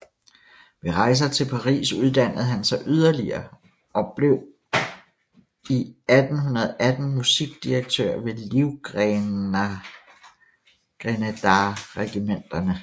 Ved rejser til Paris uddannede han sig yderligere og blev 1818 musikdirektør ved livgrenaderregimenterne